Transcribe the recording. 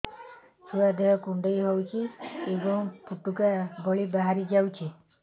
ଛୁଆ ଦେହ କୁଣ୍ଡେଇ ହଉଛି ଏବଂ ଫୁଟୁକା ଭଳି ବାହାରିଯାଉଛି